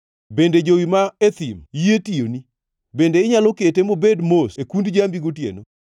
“Bende jowi ma e thim yie tiyoni? Bende inyalo kete mobed mos e kund jambi gotieno?